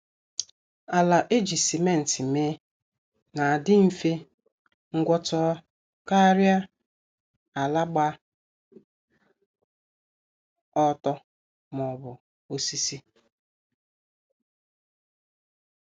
Ala eji simenti mee na-adi mfe ngwọta karịa ala gba ọtọ maọbụ osisi.